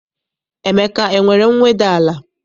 Emeka enwere mweda n'ala?